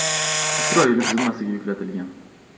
Isroilov zimmasiga yuklatilgan.